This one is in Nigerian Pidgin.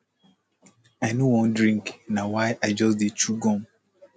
i no wan drink na why i just dey chew gum